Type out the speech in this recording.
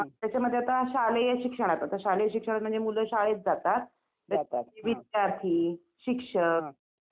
भेटण्यासाठी माणसं बाहेरून लोकं येतात दर्शनासाठी